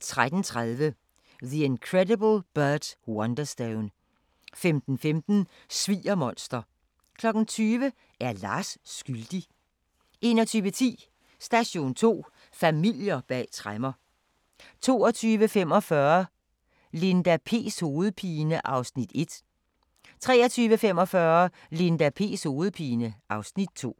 13:30: The Incredible Burt Wonderstone 15:15: Sviger-monster 20:00: Er Lars skyldig? 21:10: Station 2: Familier bag tremmer 22:45: Linda P's hovedpine (Afs. 1) 23:45: Linda P's hovedpine (Afs. 2)